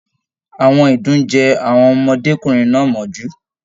Àwọn idún jẹ àwọn ọmọdékunrin náà mọ́jú.